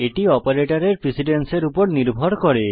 এটি অপারেটরের প্রিসিডেন্সের উপর নির্ভর করে